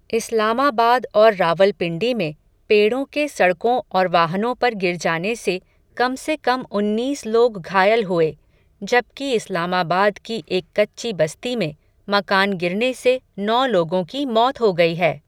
इस्लामाबाद और रावलपिंडी में, पेड़ों के सड़कों और वाहनों पर गिर जाने से, कम से कम उन्नीस लोग घायल हुए, जबकि इस्लामाबाद की एक कच्ची बस्ती में, मकान गिरने से नौ लोगों की मौत हो गई है.